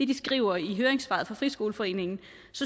de skriver i høringssvaret fra dansk friskoleforening